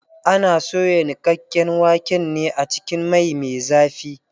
Ana soya niƙaƙƙen waken ne a cikin mai me zafi.